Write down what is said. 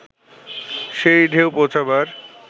সেই ঢেউ পৌঁছবার